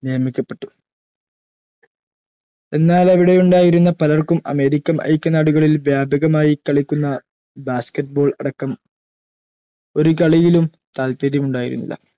നിയമിക്കപ്പെട്ടു എന്നാൽ അവിടെ ഉണ്ടായിരുന്ന പലർക്കും american ഐക്യനാടുകളിൽ വ്യാപകമായി കളിക്കുന്ന basket ball അടക്കം ഒരു കളിയിലും താല്പര്യമുണ്ടായിരുന്നില്ല